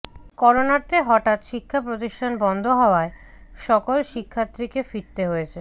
করোনাতে হঠাৎ শিক্ষা প্রতিষ্ঠান বন্ধ হওয়ায় সকল শিক্ষার্থীকে ফিরতে হয়েছে